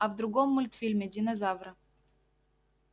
а в другом мультфильме динозавра